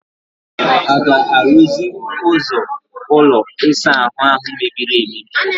A ga-arụzi ụzọ ụlọ ịsa ahụ a mebiri emebi?